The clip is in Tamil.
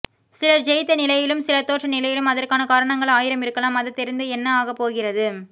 சிலர் ஜெயித்த நிலையிலும் சிலர் தோற்ற நிலையிலும் அதற்கான காரணங்கள் ஆயிரம் இருக்கலாம் அது தெரிந்து என்ன ஆகப் போகிறது